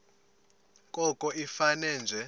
koko ifane nje